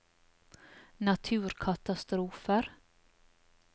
naturkatastrofer